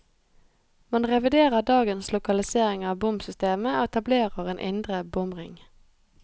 Man reviderer dagens lokalisering av bomsystemet, og etablerer en indre bomring.